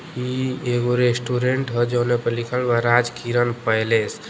ई एगो रेस्टोरेंट ह। जोने पर लिखल बा राजकिरण पैलेस ।